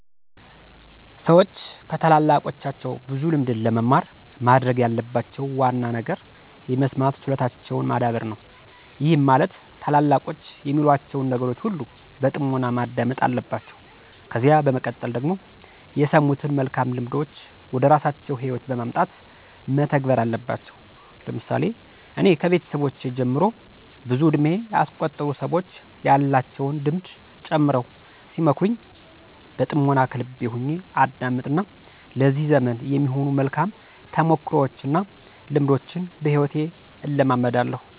ሠዎች ከታላላቆቻቸው ብዙ ልምድን ለመማር ማድረግ ያለባቸው ዋና ነገር የመስማት ችሎታቸውን ማዳበር ነው፤ ይህም ማለት ታላላቆች የሚሏቸውን ነገሮች ሁሉ በጥሞና ማዳመጥ አለባቸው። ከዚያ በመቀጠል ደግሞ የሰሙትን መልካም ልምዶች ወደራሳቸው ህይወት በማምጣት መተግበር አለባቸው። ለምሳሌ እኔ ከቤተሰቦቼ ጀምሮ ብዙ እድሜ ያስቆጠሩ ሰዎች ያላቸውን ልምድ ጨምረው ሲመክሩኝ በጥምና ከልቤ ሁኜ አዳምጥ እና ለዚህ ዘመን የሚሆኑ መልካም ተሞክሮዎች እና ልምዶችን በሂወቴ እለማመዳለሁ።